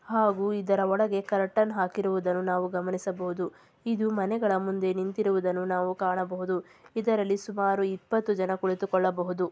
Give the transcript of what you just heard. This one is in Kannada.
ಹಾಗು ಇದರ ಒಳಗೆ ಕರ್ಟನ್ ಹಾಕಿರುವುದನ್ನು ನಾವು ಗಮನಿಸಬಹುದು ಇದು ಮನೆಗಳ ಮುಂದೆ ನಿಂತಿರುವುದನ್ನು ಕಾಣಬಹುದು ಇದರಲ್ಲಿ ಸುಮಾರು ಇಪ್ಪತ್ತು ಜನ ಕುಳಿತುಕೊಳ್ಳಬಹುದು.